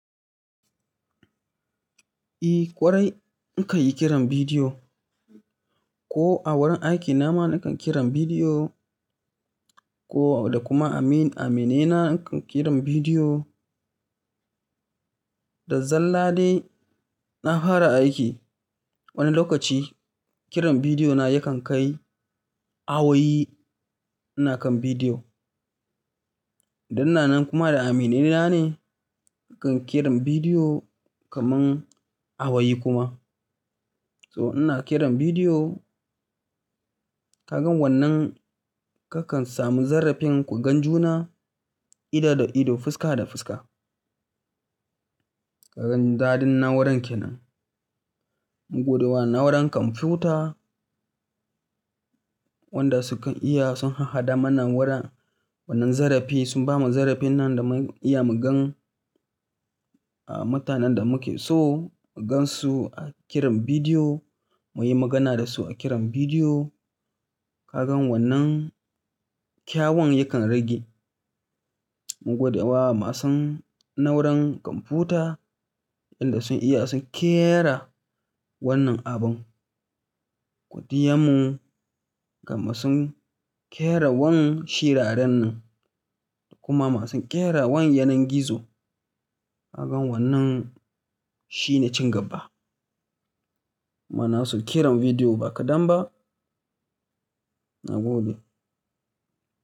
Eh ƙwarai, nakan yi kiran bidiyo, ko a wurin aikina ma nakan kiran bidiyo, ko, da kuma amin-aminina nakan kiran bidiyo, da zalla dai na hwara aiki, wani lokaci kiran bidiyo na yakan kai, awoyi ina kan bidiyo. Dan ina nan kuma da aminina ne nakan kiran bidiyo kamar awayi kuma. So ina kiran bidiyo, ka gan wannan kakan samu zarrafin ku gan juna ido da ido fuska da fuska. Ka gan daɗin na'uran ke nan. Muguduwa na'uran kwamfuta wanda su kan iya sun ha-haɗa mana wurin wannan zarrafi sun bamu zarrafin nan da mu iya mu gan, ah, mutanen da muke so mu gansu a kiran bidiyo, mu yi magana da su a kiran bidiyo. Ka gan wannan kyawun yakan rage. Muguduwa masu na'uran kwamfuta yanda sun iya sun ƙera wannan abun. Godiyanmu ga masu ƙera wannan shiraren nan da kuma masu ƙera wannan yanar gizo. Ka gan wannan shine cin gaba. Muna so kiran bidiyo ba kaɗan ba na gode.